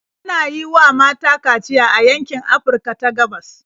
Ana yi wa mata kaciya a yankin Afirka ta gabas.